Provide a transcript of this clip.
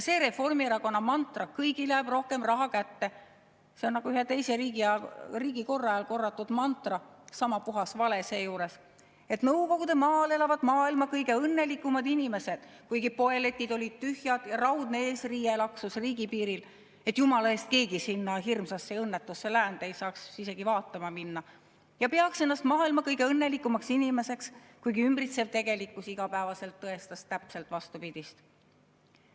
See Reformierakonna mantra "Kõigile jääb rohkem raha kätte" on nagu ühe teise riigikorra ajal korratud mantra – sama puhas vale seejuures –, et Nõukogudemaal elavad maailma kõige õnnelikumad inimesed, kuigi poeletid olid tühjad ja raudne eesriie laksus riigipiiril, et jumala eest keegi sinna hirmsasse õnnetusse läände ei saaks isegi vaatama minna ja peaks ennast maailma kõige õnnelikumaks inimeseks, kuigi ümbritsev tegelikkus iga päev tõestas täpselt vastupidist.